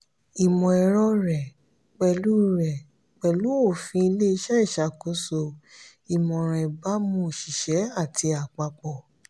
ìmọ̀-ẹ̀rọ rẹ̀ pẹ̀lú rẹ̀ pẹ̀lú òfin ilé-iṣẹ́ ìṣàkóso ìmọ̀ràn ìbámu òṣìṣẹ́ àti àpapọ̀